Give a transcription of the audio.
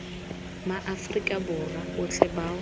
ma afrika borwa otlhe bao